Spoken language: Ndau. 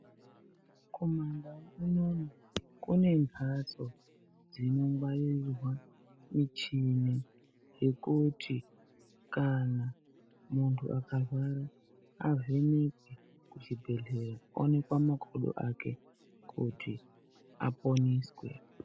Kumandau unono kune mhatso dzinongwarirwa michini yekuti, kana munthu akarwara avhenekwe kuchibhedhlera, aonekwe makodo ake kuti aponeswe.